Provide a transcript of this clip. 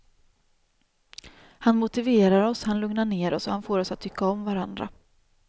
Han motiverar oss, han lugnar ner oss och han får oss att tycka om varandra.